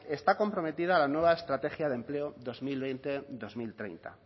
está comprometida la nueva estrategia de empleo dos mil veinte dos mil treinta